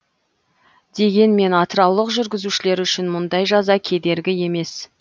дегенмен атыраулық жүргізушілер үшін мұндай жаза кедергі емес